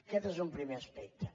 aquest és un primer aspecte